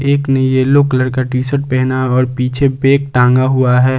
एक ने yellow colour का टी शर्ट पहना और पीछे बैग टांगा हुआ है।